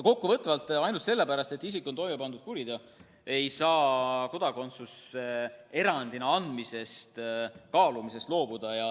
Kokkuvõtteks, ainult selle pärast, et isik on toime pannud kuriteo, ei saa kodakondsuse erandina andmise kaalumisest loobuda.